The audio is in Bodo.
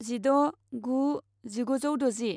जिद' गु जिगुजौ द'जि